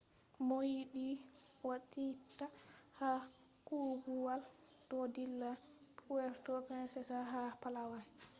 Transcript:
mooyidii waatiitaa haa koobuwal do dilla puerto princesa ha palawan